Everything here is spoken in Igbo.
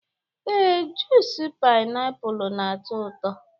ee, junice painiapulu na-atọ ụtọ